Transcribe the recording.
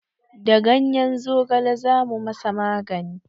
Da ganyen zogale za mu ma sa magani